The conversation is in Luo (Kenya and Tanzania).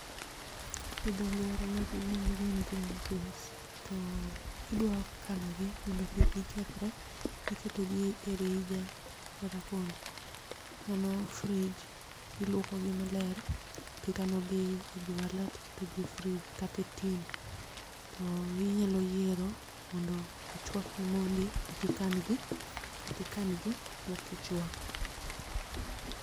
Gi dho ngere magi yiend green peas. To kidwakanogi mondo kik gikethre, iketogi e rija kata, mano frij. Ilwokogi maler, e jwala tiketogi e frij kata e tin. To inyalo yiero, mondo ichwakgi mondi ekikan gi, katikan gi mokichwako.